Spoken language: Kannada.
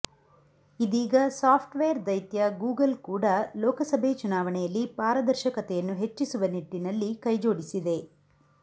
ಇದೀಗ ಸಾಫ್ಟ್ವೇರ್ ದೈತ್ಯ ಗೂಗಲ್ ಕೂಡಾ ಲೋಕಸಭೆ ಚುನಾವಣೆಯಲ್ಲಿ ಪಾರದರ್ಶಕತೆಯನ್ನು ಹೆಚ್ಚಿಸುವ ನಿಟ್ಟಿನಲ್ಲಿ ಕೈಜೋಡಿಸಿದೆ